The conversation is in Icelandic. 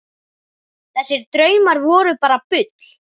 Þessir draumar voru bara bull.